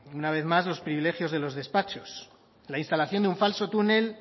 una vez más los privilegios de los despachos la instalación de un falso túnel